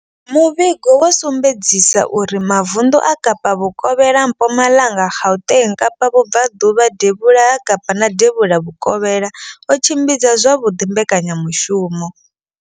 Muvhigo wo sumbedzisa uri mavunḓu a Kapa vhukovhela, Mpumalanga, Gauteng, Kapa vhubvaḓuvha, devhula ha Kapa na devhula vhukovhela o tshimbidza zwavhuḓi mbekanyamushumo.